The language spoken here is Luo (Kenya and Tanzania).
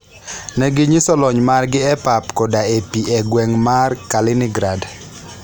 Ne ginyiso lony margi e pap koda e pi e gweng' mar Kaliningrad.